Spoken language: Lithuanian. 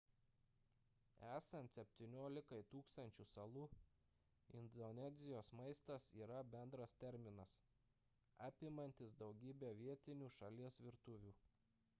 esant 17 000 salų indonezijos maistas yra bendras terminas apimantis daugybę vietinių šalies virtuvių